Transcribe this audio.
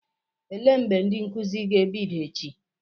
Elee mgbe ndị nkụzi ga-ebido echi?